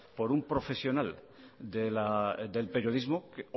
por un profesional del periodismo que